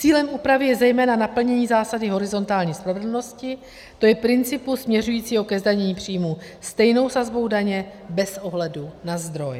Cílem úpravy je zejména naplnění zásady horizontální spravedlnosti, to je principu směřujícího ke zdanění příjmů stejnou sazbou daně bez ohledu na zdroj.